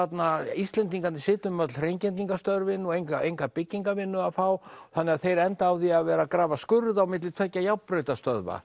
Íslendingarnir sitja um öll hreingerningarstörfin og enga enga byggingavinnu að fá þannig að þeir enda á því að vera að grafa skurð á milli tveggja